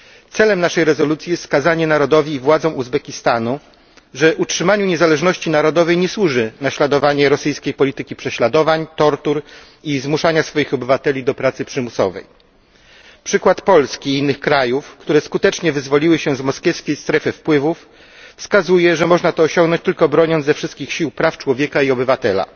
Celem naszej rezolucji jest wskazanie narodowi i władzom Uzbekistanu, że utrzymaniu niezależności narodowej nie służy naśladowanie rosyjskiej polityki prześladowań, tortur i zmuszania swoich obywateli do pracy przymusowej. Przykład Polski i innych krajów, które skutecznie wyzwoliły się z moskiewskiej strefy wpływów, wskazuje, że można to osiągnąć tylko broniąc ze wszystkich sił praw człowieka i obywatela,